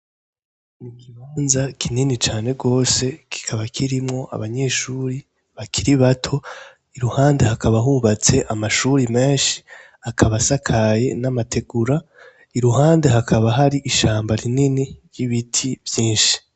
Ikibanza kinini cane gose kikaba kirimwo abanyeshure bakiri bato , iruhande hakaba hubatse amashure menshi akaba asakaye n'amategura , iruhande hakaba hari ishamba rinini n'ibiti vyinshi.